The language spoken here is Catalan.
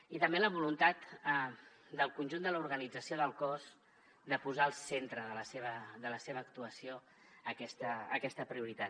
i també la voluntat del conjunt de l’organització del cos de posar al centre de la seva actuació aquesta prioritat